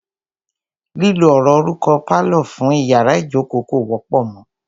Lílo ọ̀rọ̀ orúkọ "pálọ̀" fún iyàrá ìjókó kò wọ́pọ̀ mọ.